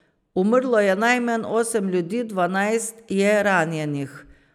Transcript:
Umrlo je najmanj osem ljudi, dvanajst je ranjenih.